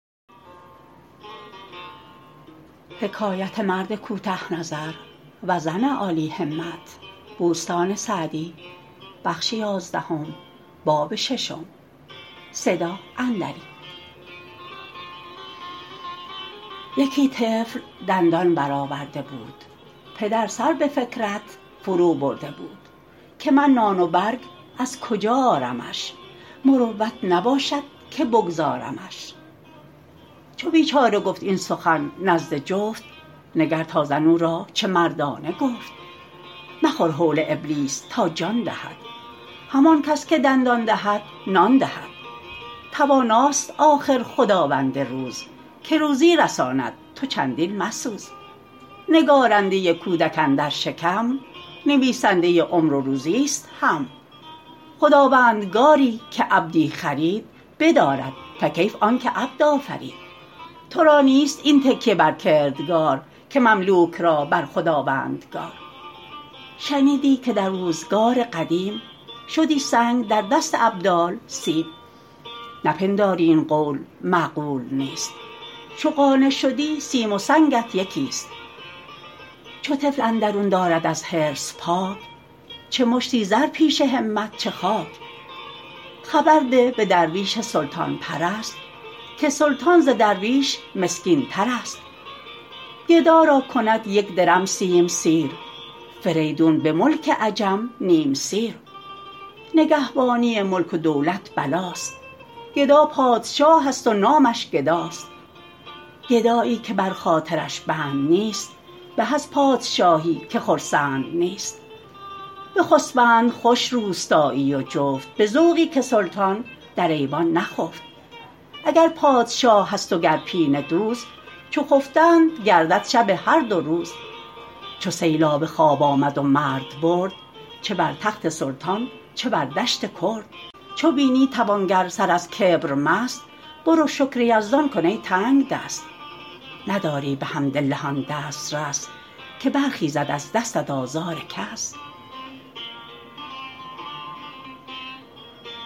یکی طفل دندان برآورده بود پدر سر به فکرت فرو برده بود که من نان و برگ از کجا آرمش مروت نباشد که بگذارمش چو بیچاره گفت این سخن نزد جفت نگر تا زن او را چه مردانه گفت مخور هول ابلیس تا جان دهد همان کس که دندان دهد نان دهد تواناست آخر خداوند روز که روزی رساند تو چندین مسوز نگارنده کودک اندر شکم نویسنده عمر و روزی است هم خداوندگاری که عبدی خرید بدارد فکیف آن که عبد آفرید تو را نیست این تکیه بر کردگار که مملوک را بر خداوندگار شنیدی که در روزگار قدیم شدی سنگ در دست ابدال سیم نپنداری این قول معقول نیست چو قانع شدی سیم و سنگت یکی است چو طفل اندرون دارد از حرص پاک چه مشتی زرش پیش همت چه خاک خبر ده به درویش سلطان پرست که سلطان ز درویش مسکین ترست گدا را کند یک درم سیم سیر فریدون به ملک عجم نیم سیر نگهبانی ملک و دولت بلاست گدا پادشاه است و نامش گداست گدایی که بر خاطرش بند نیست به از پادشاهی که خرسند نیست بخسبند خوش روستایی و جفت به ذوقی که سلطان در ایوان نخفت اگر پادشاه است و گر پینه دوز چو خفتند گردد شب هر دو روز چو سیلاب خواب آمد و مرد برد چه بر تخت سلطان چه بر دشت کرد چو بینی توانگر سر از کبر مست برو شکر یزدان کن ای تنگدست نداری بحمدالله آن دسترس که برخیزد از دستت آزار کس